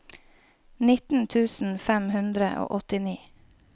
nitten tusen fem hundre og åttini